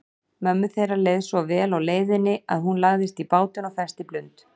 Mömmu þeirra leið svo vel á leiðinni að hún lagðist í bátinn og festi blund.